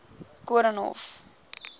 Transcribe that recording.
koornhof